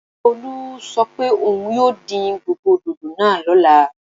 Tolú sọ pé òun yóò dín gbogbo dòdò náà lọ́la